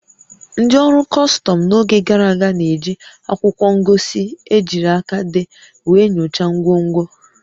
Ndị ọrụ kọstọm n'oge gara aga na-eji akwụkwọ ngosi ejiri aka dee wee nyochaa ngwongwo